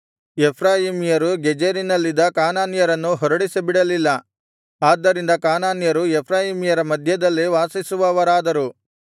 ಎಫ್ರಾಯೀಮ್ಯರು ಗೆಜೆರಿನಲ್ಲಿದ್ದ ಕಾನಾನ್ಯರನ್ನು ಹೊರಡಿಸಿಬಿಡಲಿಲ್ಲ ಆದ್ದರಿಂದ ಕಾನಾನ್ಯರು ಎಫ್ರಾಯೀಮ್ಯರ ಮಧ್ಯದಲ್ಲೇ ವಾಸಿಸುವವರಾದರು